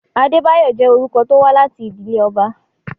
Adébáyọ̀ jẹ́ orúkọ tó wá láti ìdílé ọba.